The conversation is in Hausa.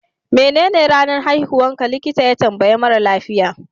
menene ranar haihuwarka, likita ya tambayi mara lafiya